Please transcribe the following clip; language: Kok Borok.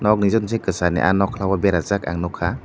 nog ni joto ni kosar ni ah nokla o beraijakh ang nogkha.